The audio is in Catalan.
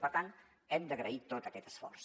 per tant hem d’agrair tot aquest esforç